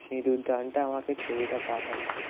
সিঁদুর দানটা আমাকে ছবিটা পাঠালো